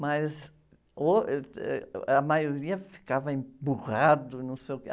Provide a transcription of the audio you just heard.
Mas, ôh, êh, a maioria ficava emburrado, não sei o quê.